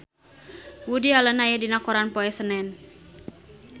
Woody Allen aya dina koran poe Senen